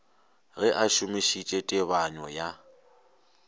ge a šomišitše tebanyo ya